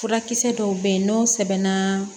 Furakisɛ dɔw bɛ yen n'o sɛbɛnna